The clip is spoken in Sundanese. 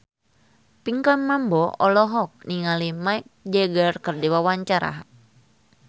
Pinkan Mambo olohok ningali Mick Jagger keur diwawancara